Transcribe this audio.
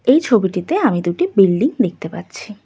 এই ছবিটিতে আমি দুটি বিল্ডিং দেখতে পাচ্ছি।